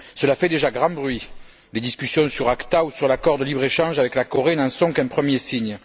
Cela fait déjà grand bruit, et les discussions sur Acta ou sur l'accord de libre échange avec la Corée n'en sont qu'un premier signe.